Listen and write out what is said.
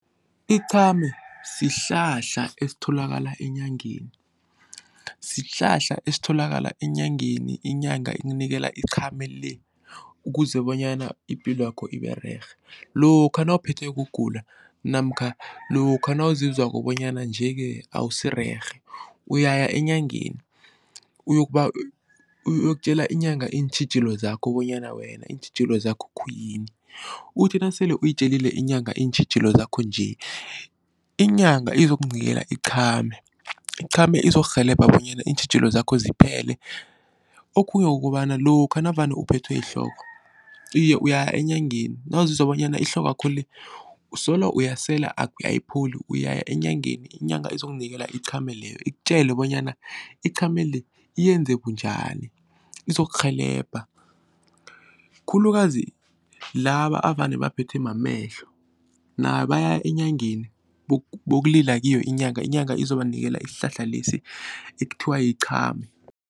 Iqhame sihlahla esitholakala enyangeni, sihlahla esitholakala enyangeni inyanga ikunikela iqhame le ukuze bonyana ipilwakho ibererhe. Lokha nawuphethwe kugula namkha lokha nawuzizwako bonyana nje-ke awusirerhe uyaya enyangeni uyokubawa uyokutjela inyanga iintjhijilo zakho bonyana wena iintjhijilo zakho khuyini uthi nasele uyitjelile inyanga iintjhijilo zakho nje, inyanga izokunikela iqhame, iqhame izokurhelebha bonyana iintjhijilo zakho ziphele. Okhunye kukobana lokha navane uphethwe yihloko, iye uyaya enyangeni nawuzizwa bonyana ihlokwakho le usolo uyasela ayipholi uyaya enyangeni inyanga izokunikela iqhame leyo ikutjele bonyana iqhame le yenze bunjani izokurhelebha khulukazi laba avane baphethwe mamehlo nabo bayaya enyangeni bokulila kiyo inyanga, inyanga izobanikela isihlahla lesi ekuthiwa yiqhame.